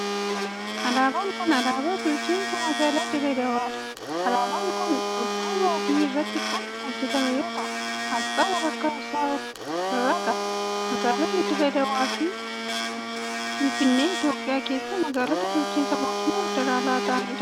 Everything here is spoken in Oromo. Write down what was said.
Alaabaan kun alaabaa bulchiinsa magaalaa Dirree Dawaa dha. Alaabaan kun dudduuba adii irratti kan hojjatame yoo ta'u, asxaa walakkaa isaa of irraa qaba. Magaaloni Dirree Dawaa fi Finfinnee Itoophiyaa keessatti magaalota bulchiinsa mootummaa Federaalaa ta'anii dha.